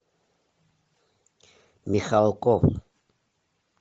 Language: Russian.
михалков